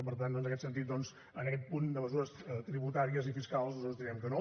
per tant en aquest sentit doncs en aquest punt de mesures tributàries i fiscals nosaltres direm que no